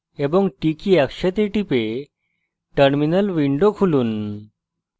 একসাথে টিপে terminal window খুলুন